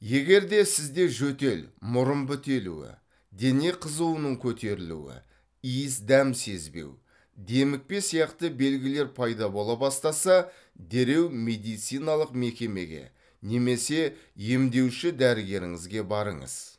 егер де сізде жөтел мұрын бітелуі дене қызуының көтерілуі иіс дәм сезбеу демікпе сияқты белгілер пайда бола бастаса дереу медициналық мекемеге немесе емдеуші дәрігеріңізге барыңыз